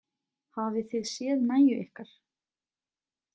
Hafið þið séð nægju ykkar?